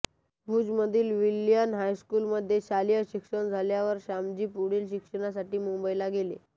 भुजमधील Wilson हायस्कूलमध्ये शालेय शिक्षण झाल्यावर श्यामजी पुढील शिक्षणासाठी मुंबईला गेले